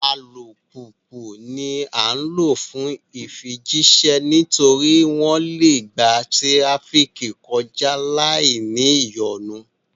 Alupupu ní a ǹ lo fún ifijiṣẹ nítorí pé wón le gbà tirafiki kọja láì ní ìyọnu